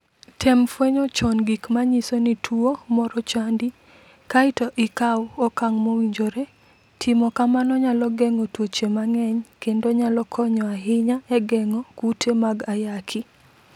Tem fwenyo chon gik ma nyiso ni tuwo moro chandi, kae to ikaw okang' mowinjore. Timo kamano nyalo geng'o tuoche mang'eny kendo nyalo konyo ahinya e geng'o kute mag ayaki.